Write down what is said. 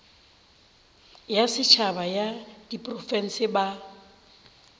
ya setšhaba ya diprofense ba